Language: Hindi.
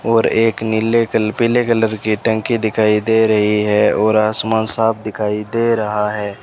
और एक नीले कल पीले कलर की टंकी दिखाई दे रही है और आसमान साफ दिखाई दे रहा है।